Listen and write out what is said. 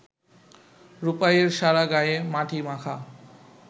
রূপাইয়ের সারা গায়ে মাটি মাখা